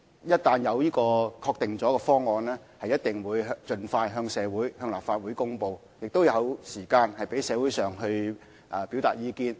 一俟有確定方案，我們定必盡快向立法會和社會大眾匯報，亦會有時間讓社會各界表達意見。